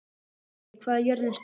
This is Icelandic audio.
Hlini, hvað er jörðin stór?